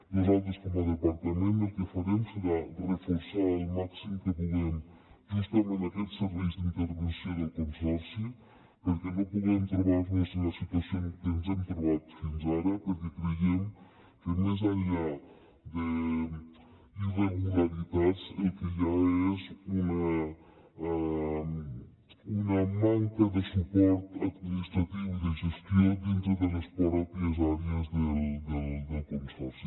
nosaltres com a departament el que farem serà reforçar al màxim que puguem justament aquests serveis d’intervenció del consorci perquè no puguem trobar nos en la situació en què ens hem trobat fins ara perquè creiem que més enllà d’irregularitats el que hi ha és una manca de suport administratiu i de gestió dintre de les pròpies àrees del consorci